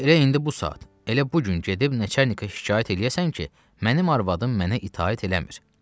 Elə indi bu saat, elə bu gün gedib nəçernikə şikayət eləyəsən ki, mənim arvadım mənə itaət eləmir.